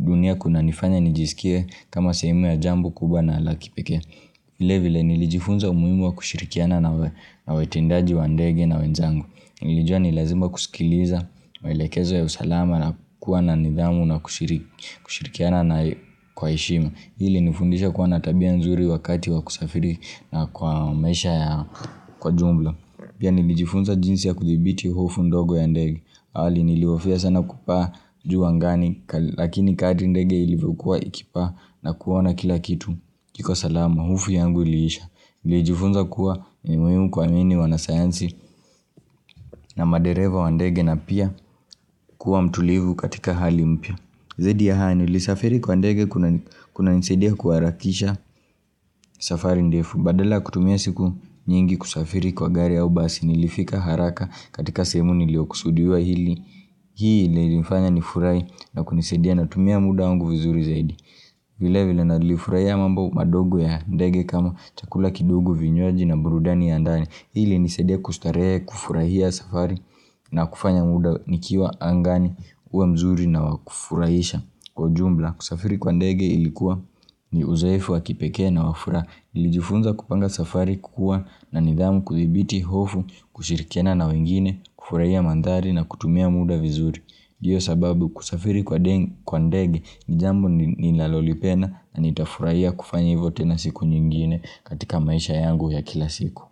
dunia kuna nifanya nijisike kama sehemu ya jambo kubwa na laki peke vile vile nilijifunza umuimu wa kushirikiana na wetendaji wandege na wenzangu nilijua ni lazima kusikiliza mailekezo ya usalama na kuwa na nidhamu na kushirikiana na kwaheshima hili nifundisha kuwa natabia nzuri wakati wa kusafiri na kwa mesha ya kwa jumla pia nilijifunza jinsi ya kuthibiti hofu ndogo ya ndege awali nilihofia sana kupaa njuu angani lakini kadri ndege ilivokua ikipaa na kuona kila kitu iko salama hofu yangu ilisha Ilijifunza kuwa muhimu kwa ninii wanasayansi na madereva wandege na pia kuwa mtulivu katika hali mpya. Zaidi ya hayo nilisafiri kwa ndege kuna nisadia kuarakisha safari ndefu. Badala kutumiasiku nyingi kusafiri kwa gari au basi nilifika haraka katika sehemu nilio kusudiwa hili. Hii ilifanya nifurai na kunisadia na tumia muda wangu vizuri zaidi. Vile vile nalifurahia mambo madogo ya ndege kama chakula kidogo vinywaji na burudani ya ndani Hii ilinisaidia kustaree kufurahia safari na kufanya muda nikiwa angani uwe mzuri na wakufurahisha Kwa jumla kusafiri kwa ndege ilikuwa ni uzoefu wakipekea na wafuraha nlijifunza kupanga safari kukua na nidhamu kuthibiti hofu kushirikana na wengine kufurahia mandari na kutumia muda vizuri Diyo sababu kusafiri kwa ndege ni jambo ni lalolipena na nitafuraiya kufanya hivote na siku nyingine katika maisha yangu ya kila siku.